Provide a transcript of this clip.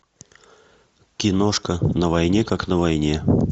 киношка на войне как на войне